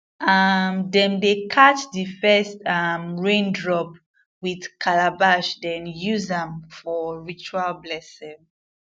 um dem dey catch the first um rain drop with calabash then use am for ritual blessing